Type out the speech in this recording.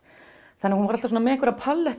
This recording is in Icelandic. þannig að hún var alltaf með einhverja